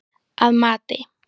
Að mati